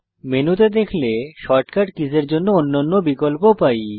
মেনুতে দেখলে শর্টকাট কীসের জন্য অন্যান্য বিকল্প পাই